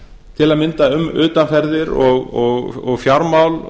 til að mynda um utanferðir og fjármál